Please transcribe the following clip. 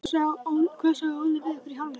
Hvað sagði Óli við ykkur í hálfleik?